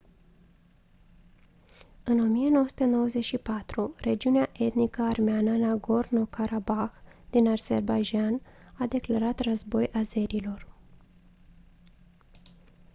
în 1994 regiunea etnic armeană nagorno-karabah din azerbaidjan a declarat război azerilor